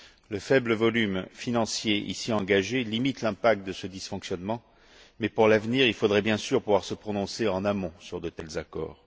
Le faible volume financier ici engagé limite l'impact de ce dysfonctionnement, mais pour l'avenir, il faudrait bien sûr pouvoir se prononcer en amont sur de tels accords.